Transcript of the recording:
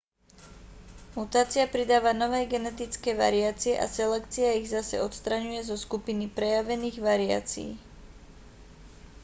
mutácia pridáva nové genetické variácie a selekcia ich zase odstraňuje zo skupiny prejavených variácií